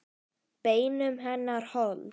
Beinum hennar hold.